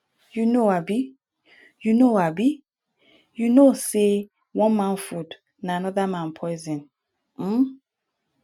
you know abi you know abi you no know sey one man food na anoda man poison um